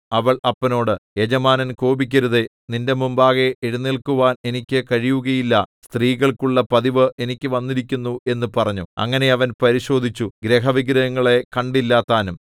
അവൾ അപ്പനോട് യജമാനൻ കോപിക്കരുതേ നിന്റെ മുമ്പാകെ എഴുന്നേൽക്കുവാൻ എനിക്ക് കഴിയുകയില്ല സ്ത്രീകൾക്കുള്ള പതിവ് എനിക്ക് വന്നിരിക്കുന്നു എന്നു പറഞ്ഞു അങ്ങനെ അവൻ പരിശോധിച്ചു ഗൃഹവിഗ്രഹങ്ങളെ കണ്ടില്ലതാനും